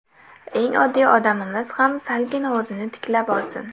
Eng oddiy odamimiz ham salgina o‘zini tiklab olsin.